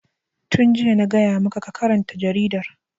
Tun jiya na gaya ma ka karanta jaridar!